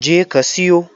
Je ka siyo!